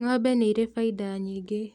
Ng'ombe nĩirĩ baida nyingĩ